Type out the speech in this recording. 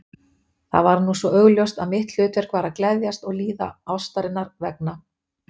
Það var nú svo augljóst að mitt hlutverk var að gleðjast og líða ástarinnar vegna.